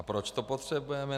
A proč to potřebujeme?